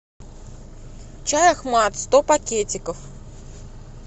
чай ахмат сто пакетиков